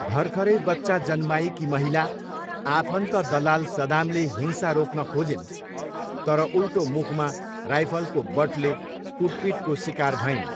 भर्खरै बच्चा जन्माएकी महिला आफन्त दलाल सदामले हिंसा रोक्न खोजिन् तर उल्टो मुखमा राइफलको बटले कुटपिटको सिकार भइन्।